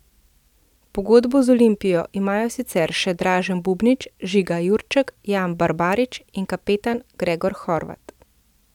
Pogodbo z Olimpijo imajo sicer še Dražen Bubnić, Žiga Jurček, Jan Barbarič in kapetan Gregor Hrovat.